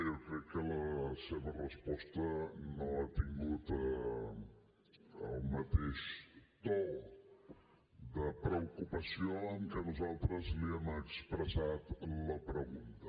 jo crec que la seva resposta no ha tingut el mateix to de preocupació amb què nosaltres li hem expressat la pregunta